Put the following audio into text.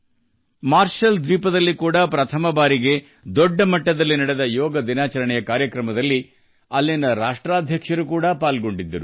ಅಲ್ಲಿ ಮೊಟ್ಟಮೊದಲ ಬಾರಿಗೆ ದೊಡ್ಡ ಮಟ್ಟದಲ್ಲಿ ಆಯೋಜಿಸಿದ್ದ ಯೋಗ ದಿನಾಚರಣೆ ಕಾರ್ಯಕ್ರಮದಲ್ಲಿ ಮಾರ್ಷಲ್ ಐಲ್ಯಾಂಡ್ಸ್ ಅಧ್ಯಕ್ಷರೂ ಭಾಗವಹಿಸಿದ್ದರು